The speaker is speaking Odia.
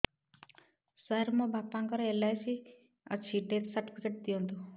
ସାର ମୋର ବାପା ଙ୍କର ଏଲ.ଆଇ.ସି ଅଛି ଡେଥ ସର୍ଟିଫିକେଟ ଦିଅନ୍ତୁ